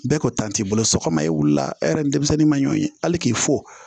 Bɛɛ ko t'i bolo so kɔnɔ e wulila hɛrɛ denmisɛnnin ma ɲɔye hali k'i fo